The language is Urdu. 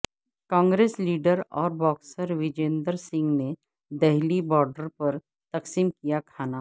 کانگریس لیڈر اور باکسر وجندر سنگھ نے دہلی بارڈر پر تقسیم کیا کھانا